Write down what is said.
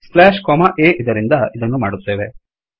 slash comma A ಇದರಿಂದ ಇದನ್ನು ಮಾಡುತ್ತೇವೆ